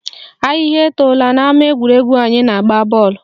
Ahịhịa etola n'ama egwuregwu anyị na-agba bọọlụ